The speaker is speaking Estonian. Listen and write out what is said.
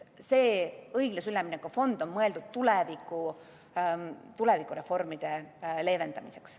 Õiglase ülemineku fond on mõeldud tuleviku reformide leevendamiseks.